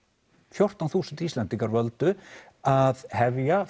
fjórtán þúsund Íslendingar völdu að hefja